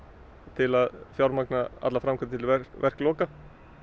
til að fjármagna allar framkvæmdir til verkloka